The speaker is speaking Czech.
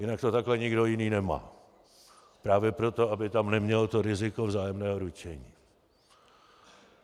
Jinak to takhle nikdo jiný nemá - právě proto, aby tam neměl to riziko vzájemného ručení.